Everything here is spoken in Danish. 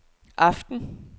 aften